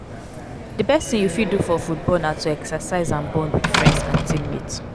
di best thing you fit do for football na to exercise and bond with friends and teammates.